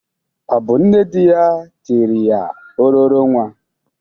Ọ bụ nne dị ya tiri ya ororo nwa?